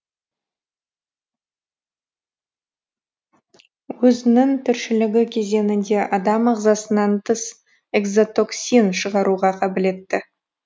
өзінің тіршілігі кезеңінде адам ағзасынан тыс экзотоксин шығаруға қабілетті